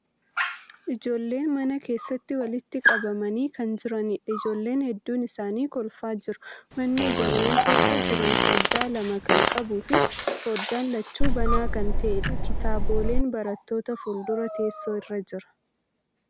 Ijoollen mana keessatti walitti qabamanii kan jiraniidha. Ijoollen hedduun isaanii kolfaa jiru. Manni ijoollen keessa jiran foddaa lama kan qabuu fi foddaan lachuu banaa kan ta'aniidha. Kitaaboleen barattoota fuuldura teessoo irra jira.